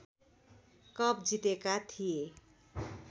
cup जितेका थिए